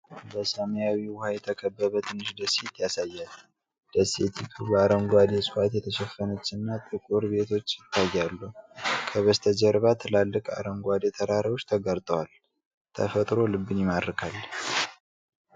በሰማያዊ ውሃ የተከበበ ትንሽ ደሴት ያሳያል። ደሴቲቱ በአረንጓዴ ዕፅዋት የተሸፈነችና ጥቂት ቤቶች ይታያሉ። ከበስተጀርባ ትላልቅ አረንጓዴ ተራራዎች ተጋርጠዋል። ተፈጥሮው ልብን ይማርካል ።